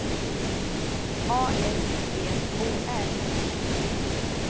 A S T O R